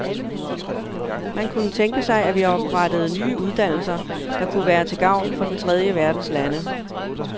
Man kunne tænke sig, at vi oprettede nye uddannelser, der kunne være til gavn for den tredje verdens lande.